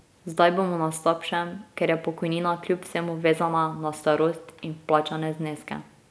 Zdaj bomo na slabšem, ker je pokojnina kljub vsemu vezana na starost in vplačane zneske.